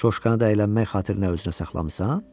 Coşkanı da əylənmək xatirinə özündə saxlamısan?